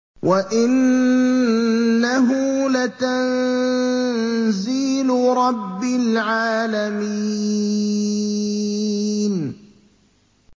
وَإِنَّهُ لَتَنزِيلُ رَبِّ الْعَالَمِينَ